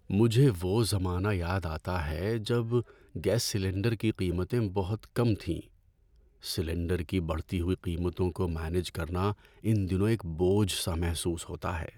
مجھے وہ زمانہ یاد آتا ہے جب گیس سلنڈر کی قیمتیں بہت کم تھیں۔ سلنڈر کی بڑھتی ہوئی قیمتوں کو مینج کرنا ان دنوں ایک بوجھ سا محسوس ہوتا ہے۔